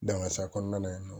Dangasa kɔnɔna in nɔn